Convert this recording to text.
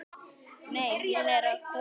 Nei, hún er að koma.